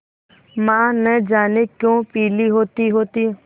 माँ न जाने क्यों पीली होतीहोती